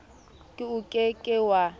k o ke ke wa